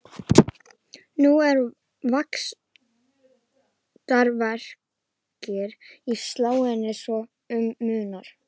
Núna eru vaxtarverkir í sálinni svo um munar.